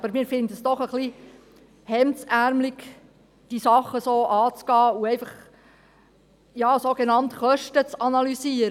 Aber wir finden es doch ein wenig hemdärmelig, diese Sache so anzugehen und einfach sogenannt Kosten zu analysieren.